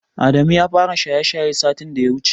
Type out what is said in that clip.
Adamu ya fara shaye-shaye satin da ya wuce.